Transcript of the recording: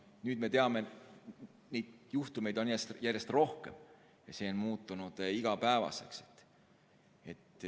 Nüüd me teame, et selliseid juhtumeid esineb järjest rohkem ja see on muutunud igapäevaseks.